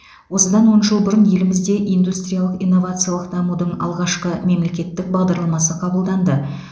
осыдан он жыл бұрын елімізде индустриялық инновациялық дамудың алғашқы мемлекеттік бағдарламасы қабылданды